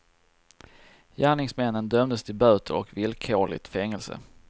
Gärningsmännen dömdes till böter och villkorligt fängelse.